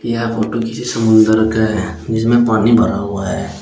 यह फोटो किसी समुद्र का है जिसमें पानी भरा हुआ है।